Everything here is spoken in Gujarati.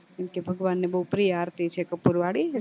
કેમ કે ભગવાન ને બૌ પ્રિય આરતી છે કપૂર વાળી